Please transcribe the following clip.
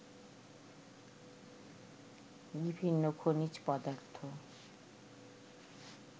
বিভিন্ন খনিজ পদার্থ